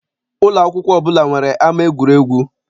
Ụlọ akwụkwọ ọbụla nwere ama egwuregwu.